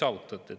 Ei saavutanud.